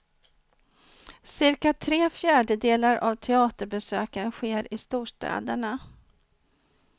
Cirka tre fjärdedelar av teaterbesöken sker i storstäderna.